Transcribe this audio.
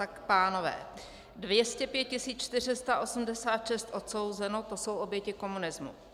Tak pánové: 205 486 odsouzeno, to jsou oběti komunismu.